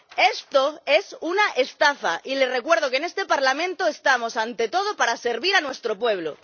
Esto es una estafa, y les recuerdo que en este Parlamento estamos, ante todo, para servir a nuestro pueblo.